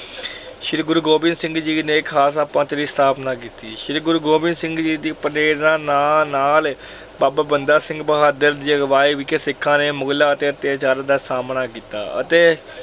ਸ਼੍ਰੀ ਗੁਰੂ ਗੋਬਿੰਦ ਸਿੰਘ ਜੀ ਨੇ ਖਾਲਸਾ ਪੰਥ ਦੀ ਸਥਾਪਨਾ ਕੀਤੀ। ਸ਼੍ਰੀ ਗੁਰੂ ਗੋਬਿੰਦ ਸਿੰਘ ਜੀ ਦੀ ਪ੍ਰੇਰਨਾ ਨਾ ਅਹ ਨਾਲ ਬਾਬਾ ਬੰਦਾ ਸਿੰਘ ਬਹਾਦੁਰ ਦੀ ਅਗਵਾਈ ਵਿਖੇ ਸਿੱਖਾਂ ਨੇ ਮੁਗਲਾਂ ਦੇ ਅਤਿਆਚਾਰਾਂ ਦਾ ਸਾਮਣਾ ਕੀਤਾ ਅਤੇ